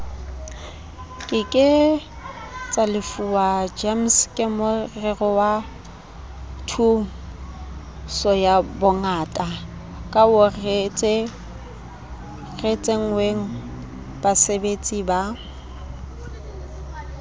ke ke tsalefuwa gemskemorerowathusoyabongakaoreretswengbasebeletsi ba